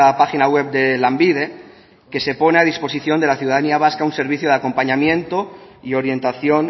página web de lanbide que se pone a disposición de la ciudadanía vasca un servicio de acompañamiento y orientación